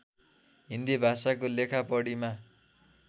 हिन्दी भाषाको लेखापढीमा